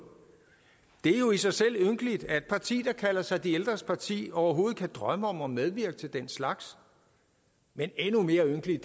det er jo i sig selv ynkeligt at et parti der kalder sig de ældres parti overhovedet kan drømme om at medvirke til den slags men endnu mere ynkelige